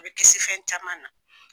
I bɛ kisi fɛn caman na.